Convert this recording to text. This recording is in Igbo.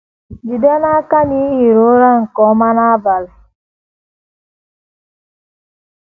Jide n’aka na i hiri ụra nke ọma n’abalị